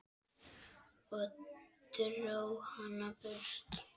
Ég dró hana burt.